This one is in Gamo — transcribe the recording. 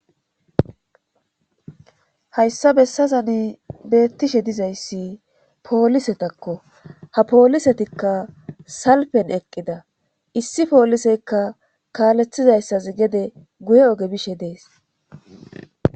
Hayssa bessazani beettishe dizayssi poolisetakko ha poolisetikka salpen eqqida issi pooliseykka kaalethizayssas gede guye oge bishe dees